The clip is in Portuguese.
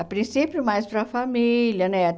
A princípio mais para família, né?